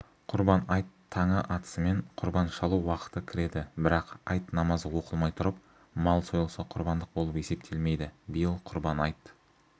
құрбан айт таңы атысымен құрбан шалу уақыты кіреді бірақ айт намазы оқылмай тұрып мал сойылса құрбандық болып есептелмейді биыл құрбан айт